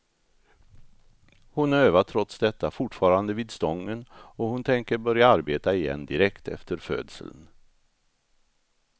Hon övar trots detta fortfarande vid stången, och hon tänker börja arbeta igen direkt efter födseln.